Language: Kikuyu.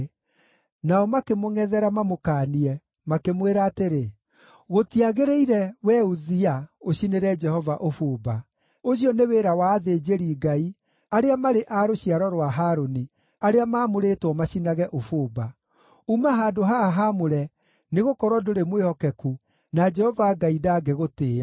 Nao makĩmũngʼethera mamũkaanie, makĩmwĩra atĩrĩ, “Gũtiagĩrĩire, wee Uzia, ũcinĩre Jehova ũbumba. Ũcio nĩ wĩra wa athĩnjĩri-Ngai arĩa marĩ a rũciaro rwa Harũni, arĩa maamũrĩtwo macinage ũbumba. Uma handũ haha haamũre nĩgũkorwo ndũrĩ mwĩhokeku, na Jehova Ngai ndangĩgũtĩĩa.”